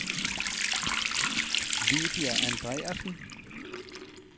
Lydia Andreassen